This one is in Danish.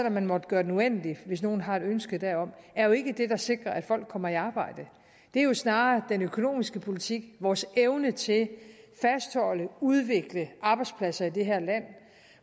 om man måtte gøre den uendelig hvis nogle har et ønske derom er jo ikke det der sikrer at folk kommer i arbejde det er jo snarere den økonomiske politik vores evne til at fastholde og udvikle arbejdspladser i det her land